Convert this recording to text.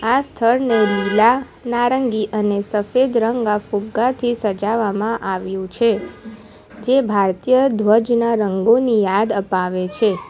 આ સ્થળને લીલા નારંગી અને સફેદ રંગના ફુગ્ગાથી સજાવામાં આવ્યું છે જે ભારતીય ધ્વજના રંગોની યાદ અપાવે છે.